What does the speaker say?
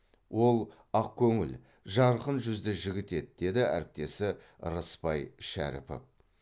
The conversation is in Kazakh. ол ақкөңіл жарқын жүзді жігіт еді деді әріптесі рысбай шәріпов